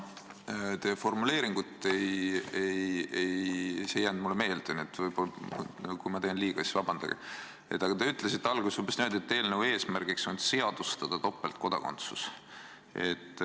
Ma teie formuleeringut täpselt ei mäleta, see ei jäänud mulle meelde, nii et kui ma teen liiga, siis vabandage mind, aga te ütlesite alguses umbes niimoodi, et eelnõu eesmärgiks on seadustada topeltkodakondsus.